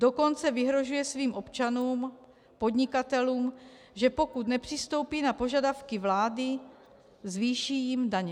Dokonce vyhrožuje svým občanům-podnikatelům, že pokud nepřistoupí na požadavky vlády, zvýší jim daně.